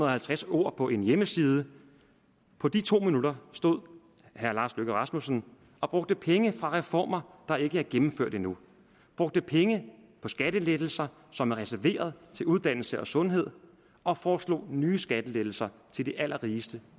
og halvtreds ord på en hjemmeside på de to minutter stod herre lars løkke rasmussen og brugte penge fra reformer der ikke er gennemført endnu brugte penge på skattelettelser som er reserveret til uddannelse og sundhed og foreslog nye skattelettelser til de allerrigeste